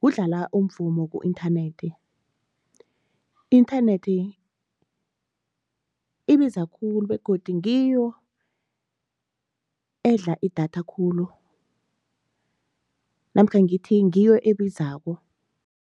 kudlala umvumo ku-inthanethi, i-inthanethi ibiza khulu begodu ngiyo edla idatha khulu namkha ngithi ngiyo ebizako.